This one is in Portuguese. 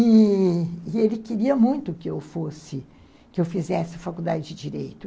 E... e ele queria muito que eu fosse, que eu fizesse faculdade de direito.